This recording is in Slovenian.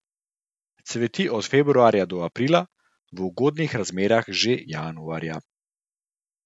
Cveti od februarja do aprila, v ugodnih razmerah že januarja.